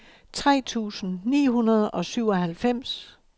tre tusind ni hundrede og syvoghalvfems